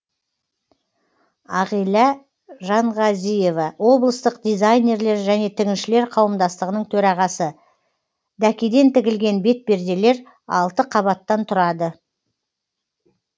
ағилә жанғазиева облыстық дизайнерлер және тігіншілер қауымдастығының төрағасы дәкеден тігілген бетперделер алты қабаттан тұрады